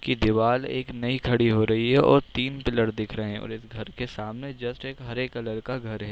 कि दिवार एक नई कड़ी हो रही है और तीन पिलर देख रहे है और इस घर के सामने जस्ट एक हरे कलर का घर है।